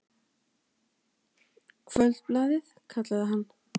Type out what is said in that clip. Kvöldblaðið, kallaði hann.